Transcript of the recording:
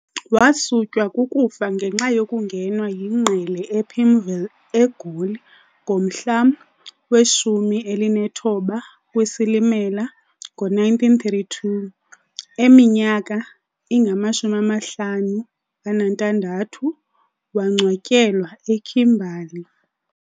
Wasutywa kukufa ngenxa yokungenwa yingqele ePimville, eGoli ngomhla we-19 kweSilimela, ngo-1932, eminyaka ingama-56, waangcwatyelwa eKimberley.